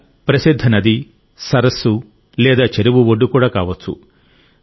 లేదా ప్రసిద్ధ నది సరస్సు లేదా చెరువు ఒడ్డు కూడా కావచ్చు